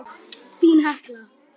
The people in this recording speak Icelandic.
Þín Hekla.